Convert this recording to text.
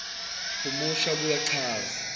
humusha abuye achaze